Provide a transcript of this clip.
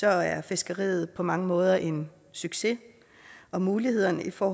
er fiskeriet på mange måder en succes og mulighederne for